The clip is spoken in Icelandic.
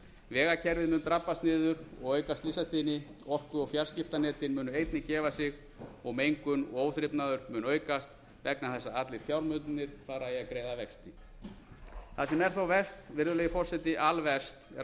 vegakerfið mun drabbast niður og auka slysatíðni orku og fjarskiptanetin munu einnig gefa sig og mengun og óþrifnaður mun aukast vegna þess að allir fjármunirnir fara í að greiða vexti það sem er þó verst virðulegi forseti alverst er að